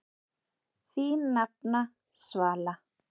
Þín nafna, Svala.